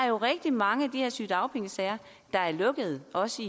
jo rigtig mange af de her sygedagpengesager der er lukket også